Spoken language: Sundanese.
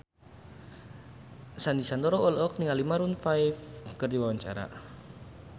Sandy Sandoro olohok ningali Maroon 5 keur diwawancara